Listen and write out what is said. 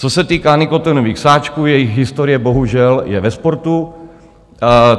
Co se týká nikotinových sáčků, jejich historie bohužel je ve sportu.